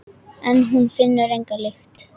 En hún finnur enga lykt.